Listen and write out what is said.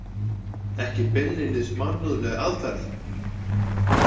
Ekki beinlínis mannúðleg aðferð!